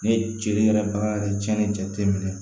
Ne ceri yɛrɛ bagan yɛrɛ cɛnni jate minɛ